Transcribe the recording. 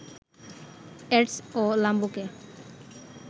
ads ও লাম্বোকে